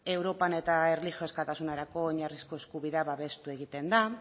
europan eta erlijio askatasunerako oinarrizko eskubidea babestu egiten da